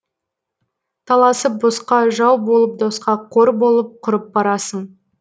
таласып босқа жау болып досқа қор болып құрып барасың